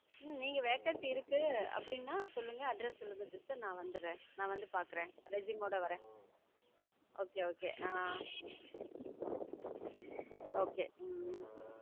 நீங்க vacancy இருக்கு அப்படினா சொல்லுக address சொல்லுக sister நான் வந்திற நான் வந்து பாக்குறேன் resume மோட வரறேன் okay okay ஆஹ் okay உம்